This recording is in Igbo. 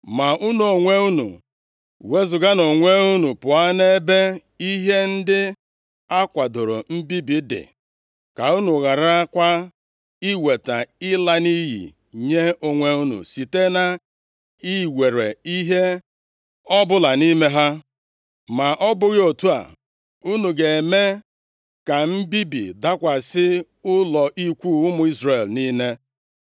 Ma unu onwe unu, wezuganụ onwe unu pụọ nʼebe ihe ndị a kwadoro mbibi dị, ka unu gharakwa iweta ịla nʼiyi nye onwe unu site na iwere ihe ọbụla nʼime ha. Ma ọ bụghị otu a, unu ga-eme ka mbibi dakwasị ụlọ ikwu ụmụ Izrel niile.